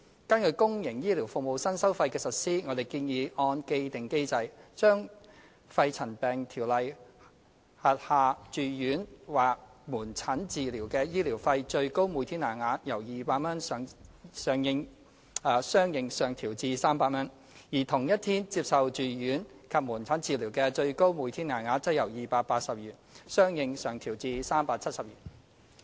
根據公營醫療服務的新收費，我們建議按既定機制，將《條例》下住院或門診治療的醫療費最高每天限額由200元相應上調至300元，而同一天接受住院及門診治療的最高每天限額，則由280元相應上調至370元。